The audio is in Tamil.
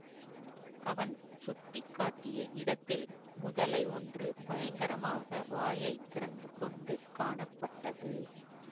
அவன் சுட்டி காட்டிய இடத்தில் முதலை ஒன்று பயங்கரமாக வாயை திறந்து கொண்டு காணப்பட்டது